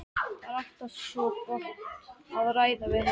Það er alltaf svo gott að ræða við hana.